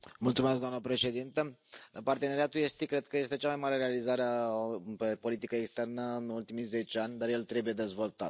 Doamnă președintă, parteneriatul estic cred că este cea mai mare realizare pe politică externă în ultimii zece ani, dar el trebuie dezvoltat.